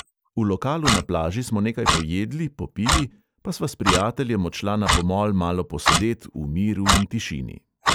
V lokalu na plaži smo nekaj pojedli, popili, pa sva s prijateljem odšla na pomol malo posedet v miru in tišini.